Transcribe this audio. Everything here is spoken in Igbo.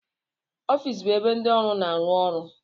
Ọfịs bụ ebe ndị ọrụ na-arụ ọrụ.